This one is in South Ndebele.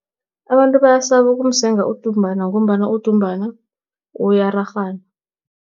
Abantu bayasaba ukumsenga udumbana, ngombana udumbana uyararhana.